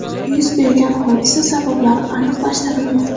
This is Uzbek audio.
Yuz bergan hodisa sabablari aniqlashtirilmoqda.